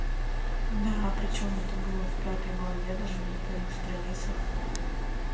да причём это было в пятой главе даже не на первых страницах